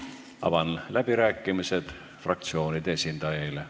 Avan läbirääkimised fraktsioonide esindajaile.